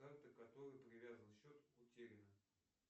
карта к которой привязан счет утеряна